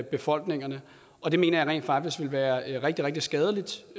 befolkningen og det mener jeg rent faktisk ville være rigtig rigtig skadeligt